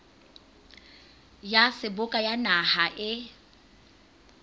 ya seboka ya naha e